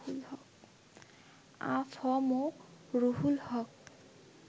আ ফ ম রুহুল হক